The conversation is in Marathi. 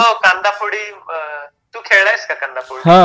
हो कांदा फोडी, तू खेळलायेस का कांदा फोडी?